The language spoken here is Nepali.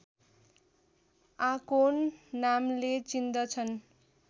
आकोन नामले चिन्दछन्